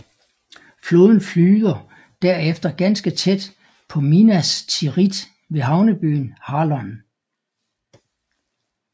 Floden flyder derefter ganske tæt på Minas Tirith ved havnebyen Harlond